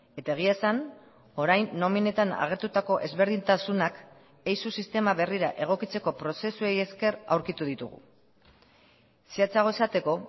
eta egia esan orain nominetan agertutako ezberdintasunak eizu sistema berrira egokitzeko prozesuei esker aurkitu ditugu zehatzago esateko